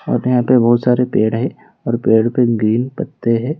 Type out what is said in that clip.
हां तो यहां पे बहोत सारे पेड़ है और पेड़ पे ग्रीन पत्ते है।